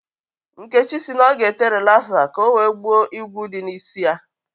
Nkechi sị na ọ ga-ete rịlaza ka o wee gbuo igwu dị n'isi ya